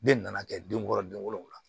Den nana kɛ den wɔɔrɔ den wolola